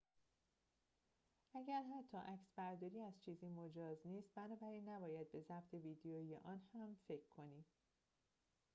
اگر حتی عکسبرداری از چیزی مجاز نیست بنابراین نباید به ضبط ویدیویی آن هم فکر کنیم